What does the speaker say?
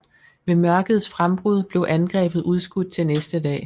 Ved mørkets frembrud blev angrebet udskudt til næste dag